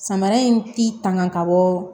Samara in ti tanga ka bɔ